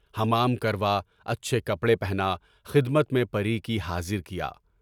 حمام کروا اچھّے کپڑے پہنائے، خدمت میں حاضر کیا۔